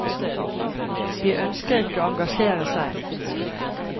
De ønsker ikke å engasjere seg.